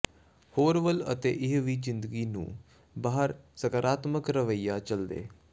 ਹੋਰ ਵੱਲ ਅਤੇ ਇਹ ਵੀ ਜ਼ਿੰਦਗੀ ਨੂੰ ਬਾਹਰ ਸਕਾਰਾਤਮਕ ਰਵੱਈਆ ਚੱਲਦੇ